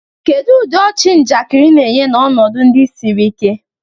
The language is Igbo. Kedu ụdị ọchị njakịrị na-enye n'ọnọdụ ndi siri ike?